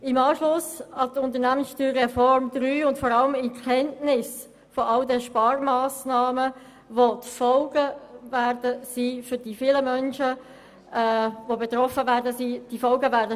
» Dies wollen wir im Anschluss an die USR III und vor allem in Kenntnis aller Sparmassnahmen tun, welche daraus folgen und von denen viele Menschen stark betroffen sein werden.